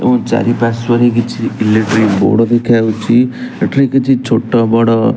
ଏବଂ ଚାରିପାର୍ଶ୍ୱରେ କିଛି ଇଲେକ୍ଟ୍ରି ବୋଡ଼ ଦେଖାଯାଉଚି। ଏଠାରେ କିଛି ଛୋଟ ବଡ଼ --